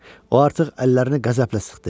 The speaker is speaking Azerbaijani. O artıq əllərini qəzəblə sıxdı.